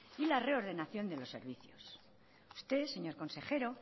y la reordenación de los servicios usted señor consejero